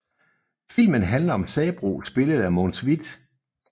Filmen handler om Sabroe spillet af Mogens Wieth